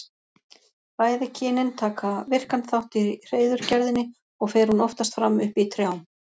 Bæði kynin taka virkan þátt í hreiðurgerðinni og fer hún oftast fram uppi í trjám.